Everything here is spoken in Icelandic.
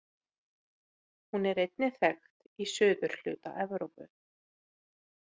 Hún er einnig þekkt í suðurhluta Evrópu.